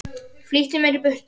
Flýtti mér í burtu.